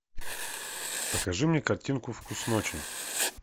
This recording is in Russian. покажи мне картинку вкус ночи